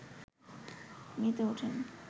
মেতে ওঠেন